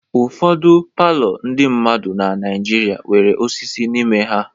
Ụfọdụ palọ ndị mmadụ na Naijiria nwere osisi n'ime ha.